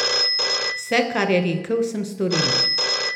Vse, kar je rekel, sem storila.